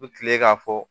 U bi kile k'a fɔ